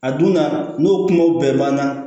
A dunna n'o kumaw bɛɛ banna